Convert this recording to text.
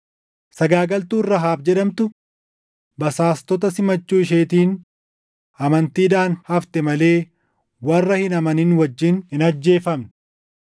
Sagaagaltuun Rahaab jedhamtu basaastota simachuu isheetiin amantiidhaan hafte malee warra hin amanin wajjin hin ajjeefamne.